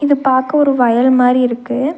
இது பாக்க ஒரு வயல் மாறி இருக்கு.